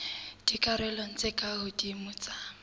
dikarolong tse ka hodimo tsa